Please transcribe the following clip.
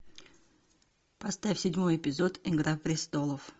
поставь седьмой эпизод игра престолов